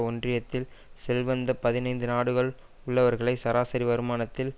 ஒன்றியத்தில் செல்வந்த பதினைந்து நாடுகளில் உள்ளவர்களை சராசரி வருமானத்தில்